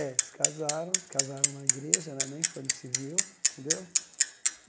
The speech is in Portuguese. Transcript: É, se casaram, casaram na igreja né, nem foi no civil, entendeu?